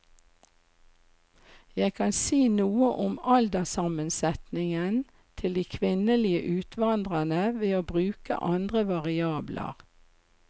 Jeg kan si noe om alderssammensetningen til de kvinnelige utvandrerne ved å bruke andre variabler.